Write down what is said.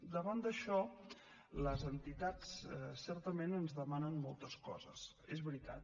davant d’això les entitats certament ens demanen moltes coses és veritat